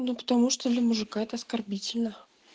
ну потому что для мужика это оскорбительно